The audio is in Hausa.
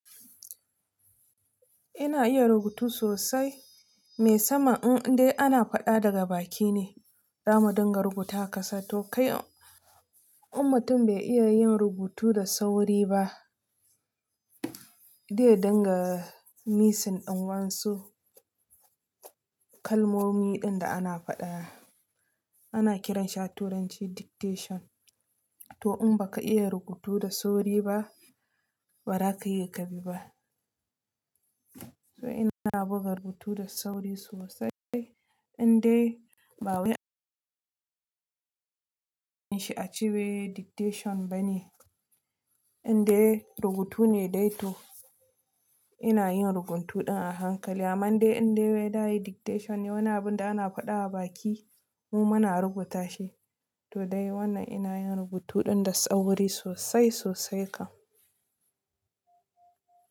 Ina iya rubutu sosai. Me sama, in dai ana faɗa daga baki ne, damu dinga rubuta ka sa. To kai, ummatin bai iya yin rubutu da sauri ba. Dai dinga misin ɗin wansu kalmomi ɗin da ana faɗa. Ana kiran shi a turanci diktesion. To in baka iya rubutu da sauri ba, ba ra ka yi kabi ba. Don ina buga rubutu da sauri sosai. In dai ba wai shi a ce wai diktasion ba ne. In dai rubutu ne dai to ina yin rubutu ɗin a hankali. Amman dai in dai wai da ayi dictation ne, wani abun da ana faɗa a baki mu muna rubuta shi. To dai wannan ina yin rubutu ɗin da sauri sosai sosai kam.